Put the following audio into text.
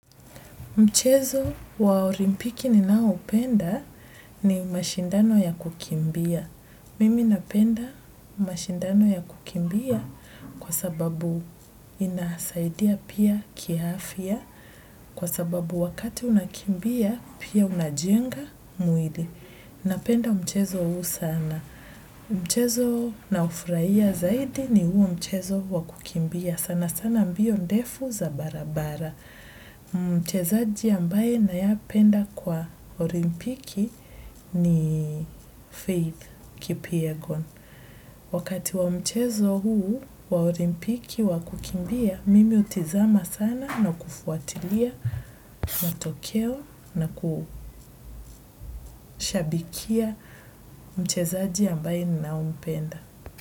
Mchezo wa olimpiki ninaoupenda ni mashindano ya kukimbia. Mimi napenda mashindano ya kukimbia kwa sababu inasaidia pia kiafya. Kwa sababu wakati unakimbia, pia unajenga mwili. Napenda mchezo huu sana. Mchezo naufurahia zaidi ni huu mchezo wa kukimbia. Sana sana mbio ndefu za barabara. Mchezaji ambaye nayependa kwa olimpiki ni Faith kipyegon wakati wa mchezo huu wa olimpiki wa kukimbia mimi hutizama sana na kufuatilia matokeo na kushabikia mchezaji ambaye ninaompenda.